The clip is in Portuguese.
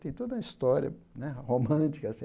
Tem toda uma história né romântica assim.